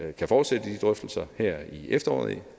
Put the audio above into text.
vi kan fortsætte her i efteråret